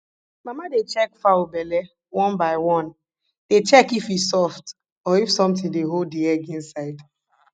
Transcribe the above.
mama dey check fowl belle one by one dey check if e soft or if something dey hold the egg inside